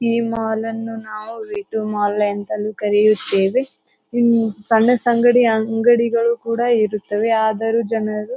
ಈ ಮಾಲ್ ಅನ್ನು ನಾವು ವೆ ಟು ಮಾಲ್ ಅಂತ ಕರಿತ್ತೇವೆ ಸಣ್ಣ ಸಣ್ಣ ಅಂಗಡಿಗಳು ಇರುತ್ತದೆ. ಆದರೂ ಜನರು--